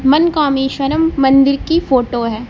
मनकामेश्वरमं मंदिर की फोटो है।